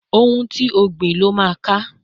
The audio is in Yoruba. Ohun ti o gbìn lo ká